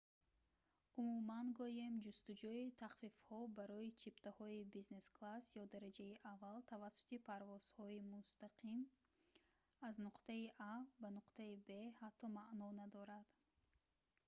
умуман гӯем ҷустуҷӯи тахфифҳо барои чиптаҳои бизнес-класс ё дараҷаи аввал тавассути парвозҳои мустақим аз нуқтаи а ба нуқтаи в ҳатто маъно надорад